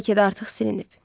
Bəlkə də artıq silinib.